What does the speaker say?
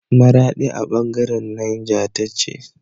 Maradi a bangaran Niger tace